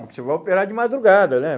Que você vai operar de madrugada, né?